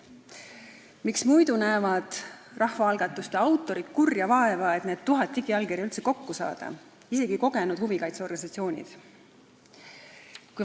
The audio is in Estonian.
Miks muidu näevad rahvaalgatuse autorid kurja vaeva, et need tuhat digiallkirja üldse kokku saada, seda isegi kogenud huvikaitseorganisatsioonis?